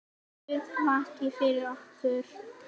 Guð vaki yfir ykkur.